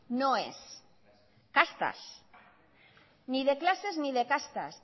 no es castas ni de clases ni de castas